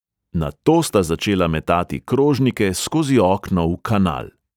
Nato sta začela metati krožnike skozi okno v kanal!